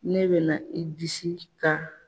Ne bɛ na i disi ka